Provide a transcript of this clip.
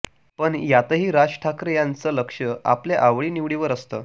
पण यातही राज ठाकरे यांचं लक्ष आपल्या आवडी निवडीवर असतं